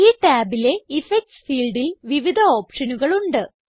ഈ ടാബിലെ ഇഫക്ട്സ് ഫീൽഡിൽ വിവിധ ഓപ്ഷനുകളുണ്ട്